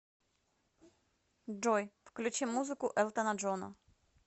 джой включи музыку элтона джона